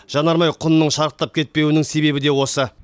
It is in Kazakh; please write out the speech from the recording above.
жанармай құнының шарықтап кетпеуінің себебі де осы